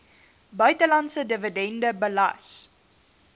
buitelandse dividende belas